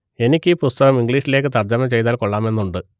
എനിക്ക് ഈ പുസ്തകം ഇംഗ്ലീഷിലേക്ക് തർജ്ജമ ചെയ്താൽ കൊള്ളാമെന്നുണ്ട്